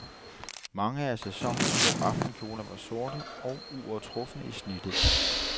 Mange af sæsonens små aftenkjoler var sorte og uovertrufne i snittet.